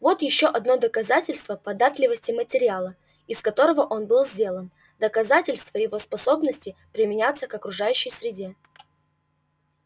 вот ещё одно доказательство податливости материала из которого он был сделан доказательство его способности применяться к окружающей среде